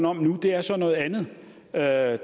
om nu er så noget andet der er